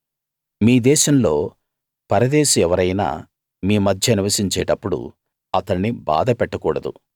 మీ దేశంలో పరదేశి ఎవరైనా మీ మధ్య నివసించేటప్పుడు అతణ్ణి బాధ పెట్టకూడదు